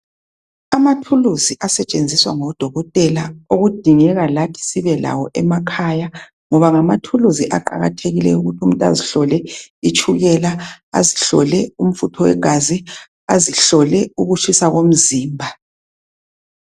Amathuluzi asetshenziswa ngodokotela okudingeka lathi sibelawo emakhaya ngoba ngamathuluzi aqakathekileyo ukuthi umuntu azihlole itshukela azihlole umfutho wegazi azihlole ukutshisa komzimba.